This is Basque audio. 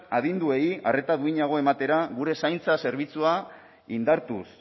adinduei arreta duinago ematera gure zaintza zerbitzua indartuz